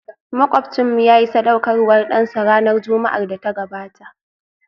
Makwabcinmu yayi sadaukarwar dansa ranar Juma'ar da ta gabata